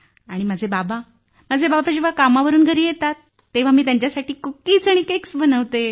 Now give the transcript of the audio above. आणि माझे बाबा जेव्हा कामावरून घरी येतात तेव्हा मी त्यांना त्यांच्यासाठी कुकीज आणि केक्स बनवते